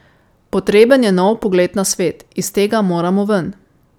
Potreben je nov pogled na svet, iz tega moramo ven.